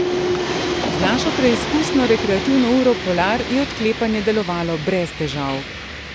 Z našo preizkusno rekreativno uro polar je odklepanje delovalo brez težav.